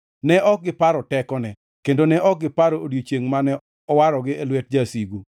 Ne ok giparo tekone, kendo ne ok giparo odiechiengʼ mane owarogi e lwet jasigu,